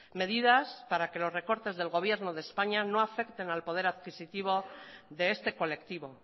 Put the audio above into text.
medidas para que los recortes del gobierno de españa no afecten al poder adquisitivo de este colectivo